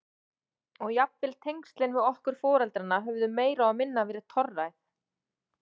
Og jafnvel tengslin við okkur foreldrana höfðu meira og minna verið torræð.